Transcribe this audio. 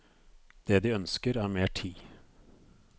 Det de ønsker er mer tid.